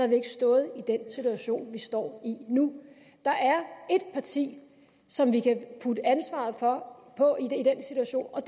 vi ikke stået i den situation vi står i nu der er ét parti som vi kan putte ansvaret for på i den situation og